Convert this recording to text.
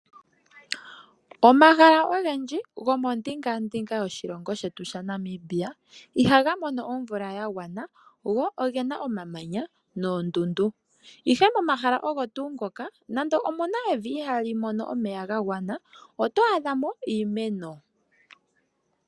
Omahala ogendji gomondinga yoshilongo shetu shaNamibia, ihaga mono omvula ya gwana go oge na omamanya noondundu. Ihe momahala ogo tuu ngoka nande omu na evi ihali mono omeya ga gwana oto adha mo iimeno.